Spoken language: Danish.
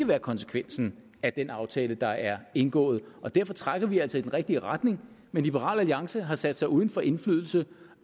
være konsekvensen af den aftale der er indgået og derfor trækker vi altså i den rigtige retning men liberal alliance har sat sig uden for indflydelse